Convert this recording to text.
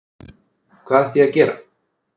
Hvað ætti ég að gera?